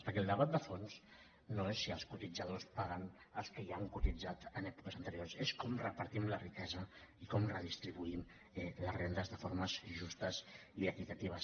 perquè el debat de fons no és si els cotitzadors paguen als que ja han cotitzat en èpoques anteriors és com repartim la riquesa i com redistribuïm les rendes de forma justa i equitativa